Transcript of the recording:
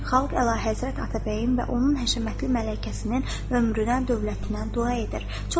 Xalq Əlahəzrət Atabəyin və onun həşəmətli mələkəsinin ömrünə, dövlətinə dua edir.